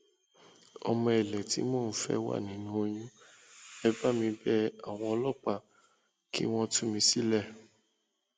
ọmọ èlé tí mò ń fẹ wà nínú oyún ẹ bá mi bẹ àwọn ọlọpàá kí wọn tú mi sílẹ